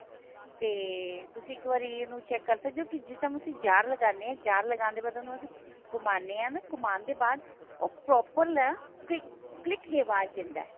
ਤੇ ਤੁਸੀਂ ਇੱਕ ਵਾਰੀ ਇਹਨੂੰ check ਕਰ ਸਕਦੇ ਹੋ ਜਿਸ time ਤੁਸੀਂ jar ਲਗਾਉਂਦੇ jar ਲਗਾਉਣ ਦੇ ਬਾਅਦ ਉਹਨੂੰ ਅਸੀਂ ਘੁਮਾਨੇ ਆ ਨਾ ਘੁਮਾਉਣ ਦੇ ਬਾਅਦ ਉਹ proper click ਦੀ ਆਵਾਜ ਦਿੰਦਾ